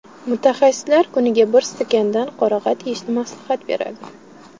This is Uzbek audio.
Mutaxassislar kuniga bir stakandan qorag‘at yeyishni maslahat beradi.